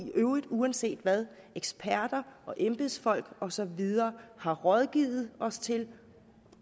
i øvrigt uanset hvad eksperter og embedsfolk og så videre har rådgivet os til